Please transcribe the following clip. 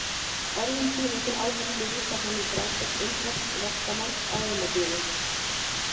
Orðum sínum til áherslu vísar hann í frásögn indversks verkamanns á heimasíðu